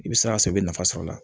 I bɛ sira sɔrɔ i bɛ nafa sɔrɔ a la